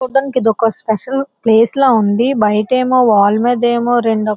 చూడటానికి ఇది ఒక స్పెషల్ ప్లేస్ లాగా ఉంది. బయటేమో వాల్మీదేమో రెండు--